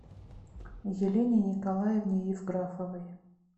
елене николаевне евграфовой